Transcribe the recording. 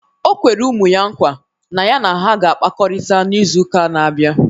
O kwere ụmụ ya nkwa na ya na ha ga-akpakọrịta n'izu ụka na-abịa